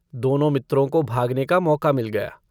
दोनों मित्रों को भागने का मौका मिल गया।